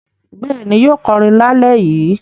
Bẹ́ẹ̀ ni, yóò kọrin lálẹ́ yìí.